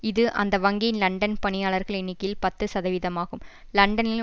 இது அந்த வங்கியின் லண்டன் பணியாளர்கள் எண்ணிக்கையில் பத்து சதவீதமாகும் லண்டனில்